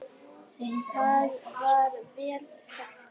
Það er vel þekkt.